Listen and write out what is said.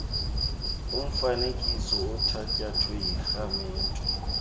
umfanekiso othatyathwe yikhamera